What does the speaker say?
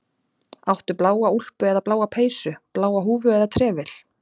Áttu bláa úlpu eða bláa peysu, bláa húfu eða trefil?